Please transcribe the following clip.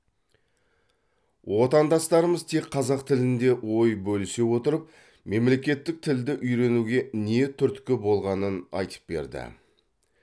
отандастарымыз тек қазақ тілінде ой бөлісе отырып мемлекеттік тілді үйренуге не түрткі болғанын айтып берді